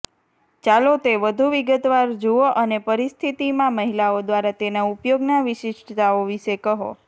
ચાલો તે વધુ વિગતવાર જુઓ અને પરિસ્થિતિમાં મહિલાઓ દ્વારા તેના ઉપયોગના વિશિષ્ટતાઓ વિશે કહો